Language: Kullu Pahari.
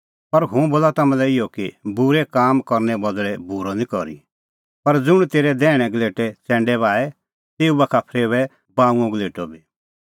पर हुंह बोला तम्हां लै इहअ कि बूरै करने बदल़ै बूरअ निं करी पर ज़ुंण तेरै दैहणै गलेटै च़ैंडै बाहे तेऊ बाखा फरेओऐ बाऊंअ गलेटअ बी